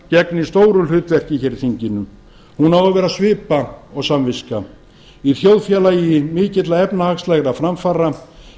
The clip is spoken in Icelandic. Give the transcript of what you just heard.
gegnir stóru hlutverki í þinginu hún á að vera svipa og samviska í þjóðfélagi mikilla efnahagslegra framfara eigum við að